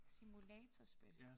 Simulatorspil